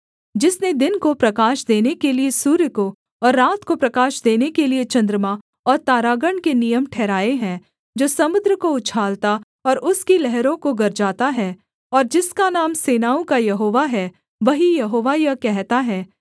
जिसने दिन को प्रकाश देने के लिये सूर्य को और रात को प्रकाश देने के लिये चन्द्रमा और तारागण के नियम ठहराए हैं जो समुद्र को उछालता और उसकी लहरों को गरजाता है और जिसका नाम सेनाओं का यहोवा है वही यहोवा यह कहता है